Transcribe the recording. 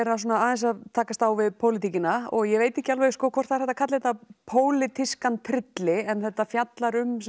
aðeins að takast á við pólitíkina ég veit ekki alveg hvort það er hægt að kalla þetta pólitískan en þetta fjallar um